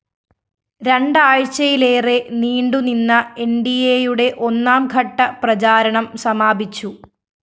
രണ്ടാഴ്ചയിലേറെ നീണ്ടു നിന്ന എന്‍ഡിഎയുടെ ഒന്നാം ഘട്ട പ്രചാരണം സമാപിച്ചു